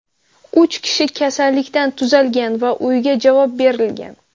Uch kishi kasallikdan tuzalgan va uyga javob berilgan.